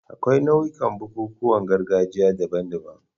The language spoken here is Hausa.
Akwai nau'ikan bukukuwan gargajiya daban-daban.